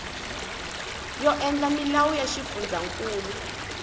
yo endla milawu ya xifundzankulu